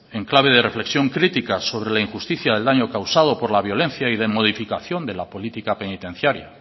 en clave de reflexión crítica sobre la injusticia del daño causado por la violencia y de modificación de la política penitenciaria